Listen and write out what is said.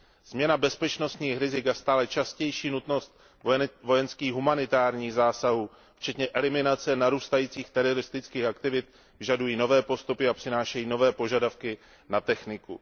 Změna bezpečnostních rizik a stále častější nutnost vojenských humanitárních zásahů, včetně eliminace narůstajících teroristických aktivit, vyžadují nové postupy a přinášejí nové požadavky na techniku.